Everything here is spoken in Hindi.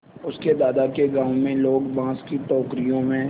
उसके दादा के गाँव में लोग बाँस की टोकरियों में